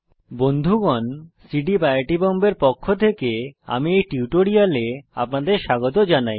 বন্ধুগণ CDEEP I I T বোম্বের পক্ষ থেকে আমি এই টিউটোরিয়ালে আপনাদের স্বাগত জানাই